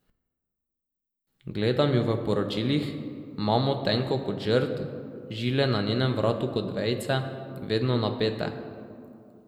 Gledam ju v poročilih, mamo tenko kot žrd, žile na njenem vratu kot vejice, vedno napete.